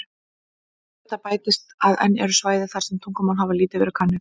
Við þetta bætist að enn eru svæði þar sem tungumál hafa lítið verið könnuð.